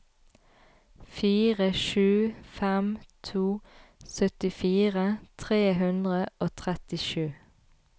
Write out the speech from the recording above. fire sju fem to syttifire tre hundre og trettisju